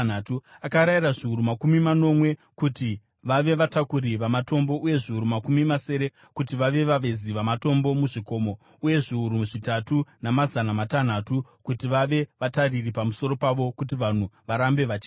Akarayira zviuru makumi manomwe kuti vave vatakuri vamatombo uye zviuru makumi masere kuti vave vavezi vamatombo muzvikomo, uye zviuru zvitatu namazana matanhatu kuti vave vatariri pamusoro pavo kuti vanhu varambe vachishanda.